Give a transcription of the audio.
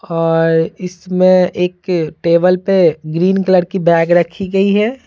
और इसमें एक टेबल पे ग्रीन कलर की बैग रखी गई है।